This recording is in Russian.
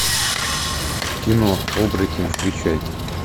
кино оборотень включай